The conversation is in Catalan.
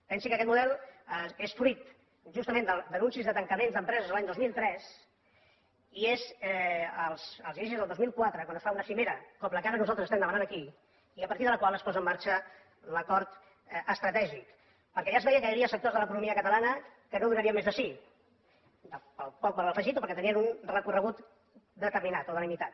pensi que aquest model és fruit justament d’anuncis de tancaments d’empreses a l’any dos mil tres i és als inicis del dos mil quatre quan es fa una cimera com la que ara nosaltres estem demanant aquí i a partir de la qual es posa en marxa l’acord estratègic perquè ja es veia que hi havia sectors de l’economia catalana que no donarien més de si pel poc valor afegit o perquè tenien un recorregut determinat o delimitat